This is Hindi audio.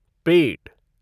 पेट